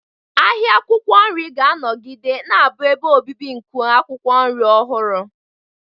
Ahịa akwụkwọ nri ga-anọgide na-abụ ebe obibi nke akwụkwọ nri ọhụrụ.